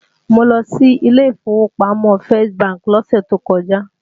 Mo lọ sí ilé ìfowópamọ́ First bank lọ́sẹ̀ tó kọjá